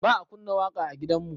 Ba a kunna waƙa a gidanmu